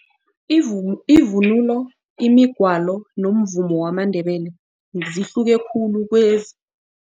ivunulo imigwalo nomvumo wamaNdebele zihluke khulu